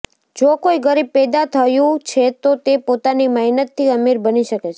જો કોઈ ગરીબ પૈદા થયું છે તો તે પોતાની મહેનતથી અમીર બની શકે છે